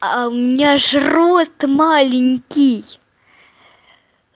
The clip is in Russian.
а у меня ж рост маленький